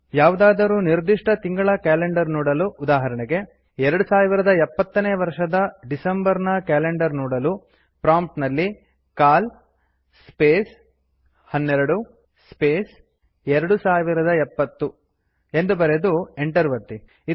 ಯಾವುದಾದರೂ ನಿರ್ದಿಷ್ಟ ತಿಂಗಳ ಕ್ಯಾಲೆಂಡರ್ ನೋಡಲು ಉದಾಹರೆಣೆಗೆ ೨೦೭೦ ನೇ ವರ್ಷದ ಡಿಸಂಬರ್ ನ ಕ್ಯಾಲೆಂಡರ್ ನೋಡಲು ಪ್ರಾಂಪ್ಟ್ ನಲ್ಲಿ ಸಿಎಎಲ್ ಸ್ಪೇಸ್ 12 ಸ್ಪೇಸ್ 2070 ಎಂದು ಬರೆದು ಎಂಟರ್ ಒತ್ತಿ